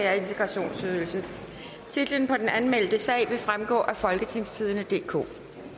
og halvfems titlen på den anmeldte sag vil fremgå af folketingstidende DK